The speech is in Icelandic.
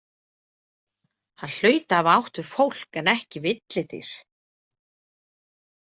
Hann hlaut að hafa átt við fólk en ekki villidýr.